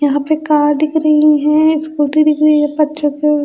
यहां पे कार दिख रही हैं स्कूटी दिख रही हैं